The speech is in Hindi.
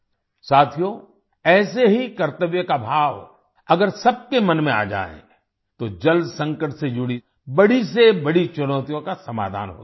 साथियो ऐसी ही कर्तव्य का भाव अगर सबके मन में आ जाए तो जल संकट से जुड़ी बड़ी से बड़ी चुनौतियों का समाधान हो सकता है